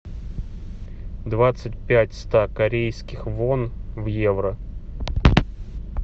двадцать пять ста корейских вон в евро